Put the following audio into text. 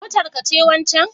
Motar ka ce wancen